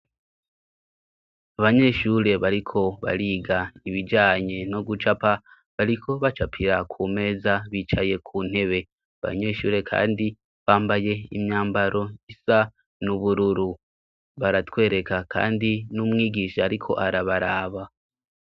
abanyeshure bariko bariga ibijanye no gucapa bariko bacapira ku meza bicaye ku ntebe abanyeshure kandi bambaye imyambaro isa nubururu baratwereka kandi n'umwigisha ariko arabaraba